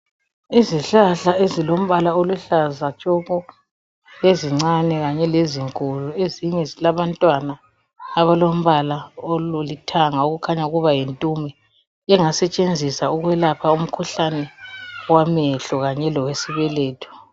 Izihahla ezilombala oluhlaza tshoko! Ezincane kanye lezinkulu. Ezinye zilabantwana abalombala olithanga. Okukhanya ukuba yintume. Engasetshenziswa ukwelapha. umkhuhlane wamehlo. Kanye lesibeletho.